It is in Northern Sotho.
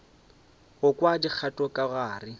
go kwa dikgato ka gare